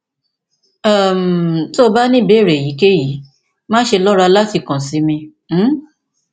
um tó o bá ní ìbéèrè èyíkéyìí máṣe lọra láti kàn sí mi um